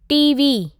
TV.